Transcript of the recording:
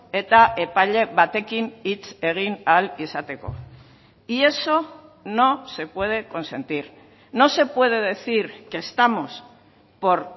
eta epaile batekin hitz egin ahal izateko y eso no se puede consentir no se puede decir que estamos por